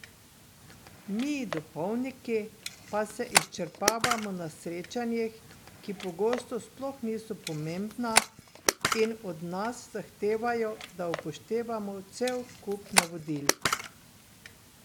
Mi, duhovniki, pa se izčrpavamo na srečanjih, ki pogosto sploh niso pomembna, in od nas zahtevajo, da upoštevamo cel kup navodil.